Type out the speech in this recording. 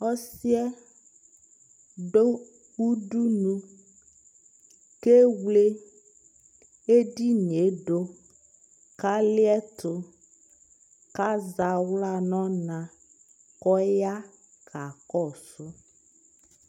Ɔsi ɛ dʋ udunu kʋ ewle ɛdini yɛ dʋ kaliɛtʋ kʋ aza aɣla nʋ ɔna kʋ ɔya kakɔsʋ